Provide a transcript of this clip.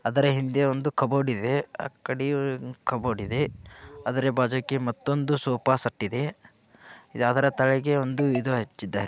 ಅದರ ಹಿಂದೆ ಕಬೋರ್ಡ್ ಇದೆ ಅದರ ಬಾಜು ಮತ್ತೊಂದ ಸೋಫಾ ಸೆಟ್ ಇದೆ.